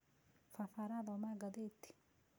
Baba arathoma gatheti